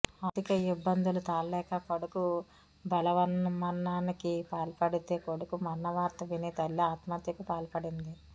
ఆర్థిక ఇబ్బందులు తాళలేక కొడుకు బలవన్మరణానికి పాల్పడితే కొడుకు మరణవార్త విని తల్లి ఆత్మహత్యకు పాల్పడింది